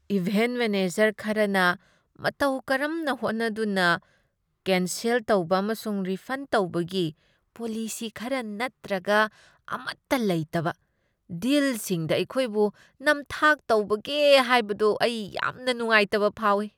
Event manager ꯈꯔꯅ ꯃꯇꯧ ꯀꯔꯝꯅ ꯍꯣꯠꯅꯗꯨꯅ ꯀꯦꯟꯁꯦꯜ ꯇꯧꯕ ꯑꯃꯁꯨꯡ ꯔꯤꯐꯟ ꯇꯧꯕꯒꯤ ꯄꯣꯂꯤꯁꯤ ꯈꯔ ꯅꯠꯇ꯭ꯔꯒ ꯑꯃꯠꯇ ꯂꯩꯇꯕ ꯗꯤꯜꯁꯤꯡꯗ ꯑꯩꯈꯣꯏꯕꯨ ꯅꯝꯊꯥꯛ ꯇꯧꯕꯒꯦ ꯍꯥꯏꯕꯗꯨ ꯑꯩ ꯌꯥꯝꯅ ꯅꯨꯡꯉꯥꯏꯇꯕ ꯐꯥꯎꯏ꯫